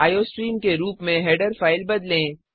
iostream के रूप में हेडर फ़ाइल बदलें